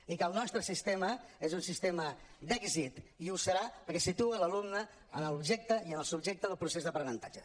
i que el nostre sistema és un sistema d’èxit i ho serà perquè situa l’alumne en l’objecte i en el subjecte del procés d’aprenentatge